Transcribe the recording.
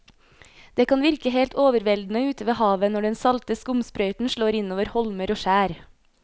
Det kan virke helt overveldende ute ved havet når den salte skumsprøyten slår innover holmer og skjær.